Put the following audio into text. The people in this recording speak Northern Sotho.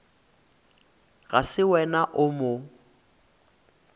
ga se wena o mo